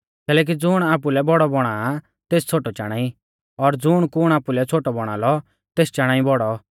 कैलैकि ज़ुण आपुलै बौड़ौ बौणा आ तेस छ़ोटौ चाणा ई और ज़ुण कुण आपुलै छ़ोटौ बौणा लौ तेस चाणा ई बौड़ौ